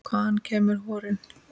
Hvaðan kemur horinn?